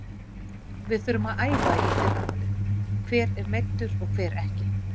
Við þurfum að æfa í fyrramálið, hver er meiddur og hver ekki?